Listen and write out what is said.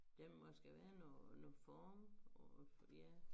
Der må skal være noget noget form og ja